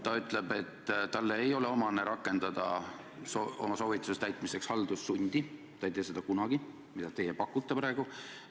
Ta ütleb, et talle ei ole omane rakendada oma soovituste täitmiseks haldussundi – ta ei tee seda kunagi, aga teie pakute talle praegu seda.